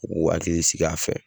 U k'u hakili sigi a fɛ.